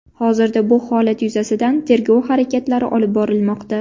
Hozirda bu holat yuzasidan tergov harakatlari olib borilmoqda.